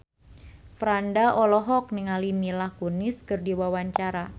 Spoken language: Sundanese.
Franda olohok ningali Mila Kunis keur diwawancara